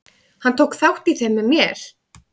Hann tók þátt í þeim með mér.